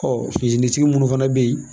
munnu fana bɛ yen.